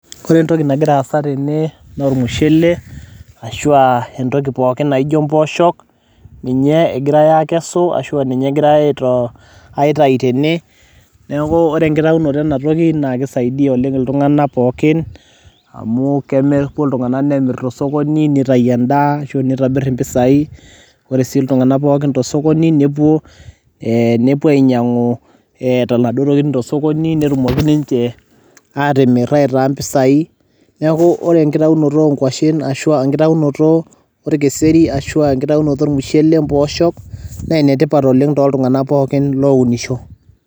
ore entoki nagira aasa tene naa ormushele ,ashu aa impooshok. ninye egirae aakesu, ashu aa ninye egirae aitaki tene .neeku ore enkitayunoto ena toki naa kisaidia oleng iltunganak pookin amu, kepuo iltungank nemir tosokoni netayu eaa, ashu nitobir impisai. ore sii iltunganak pookin tosokoni, nepuo ainyiang'u inaduoo tokitin tosokoni, netumoki ninche aatimir aitaa mpisai. neeku ore enkitaunoto onkwashen, ashu aa enkitaunoto orkeseri. ashu aa enkitaunoto ormushele. mpooshok naa enetipat oleng tooltunganak pookin lounisho.